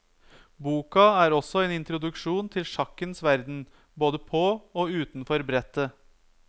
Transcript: Boka er også en introduksjon til sjakkens verden både på og utenfor brettet.